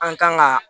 An kan ka